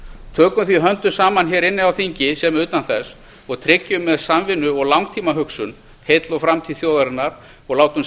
tökum því höndum saman hér inni á þingi sem utan þess og tryggjum með samvinnu og langtímahugsun heill og framtíð þjóðarinnar og látum